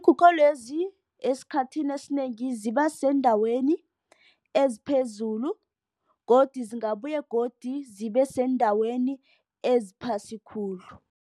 Lezi esikhathini esinengi ziba seendaweni eziphezulu. Godu zingabuya godu zibe seendaweni eziphasi khulu.